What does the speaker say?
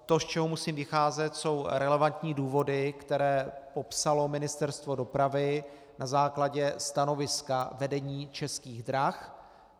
To, z čeho musím vycházet, jsou relevantní důvody, které popsalo Ministerstvo dopravy na základě stanoviska vedení Českých drah.